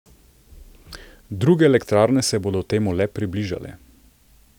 Druge elektrarne se bodo temu le približale.